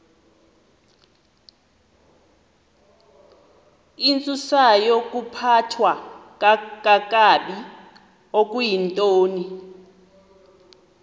intsusayokuphathwa kakabi okuyintoni